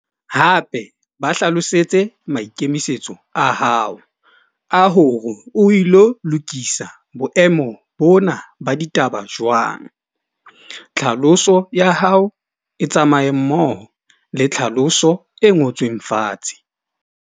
Hape ba hlalosetse maikemisetso a hao a hore o ilo lokisa boemo bona ba ditaba jwang. Tlhaloso ya hao e tsamaye mmoho le tlhaloso e ngotsweng fatshe.